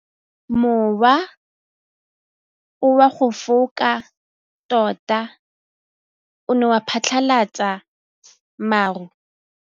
Mowa o wa go foka tota o ne wa phatlalatsa maru.